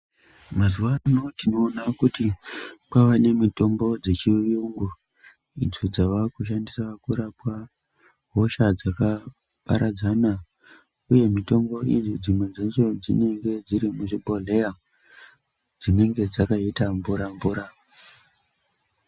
Mazuvano tinoona kuti kwave nemitombo dzechiungu idzo dzavakushandiswa kurapa hosha dzakaparadzana uye mitombo iyi dzimwe dzacho dzinenge dziri muzvibhohleya dzinenge dzakaita mvura mvura.